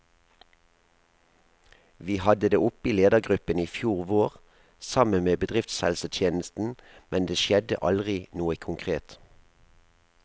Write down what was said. Vi hadde det oppe i ledergruppen i fjor vår, sammen med bedriftshelsetjenesten, men det skjedde aldri noe konkret.